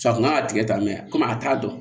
a kun kan ka tigɛ tan mɛ a t'a dɔn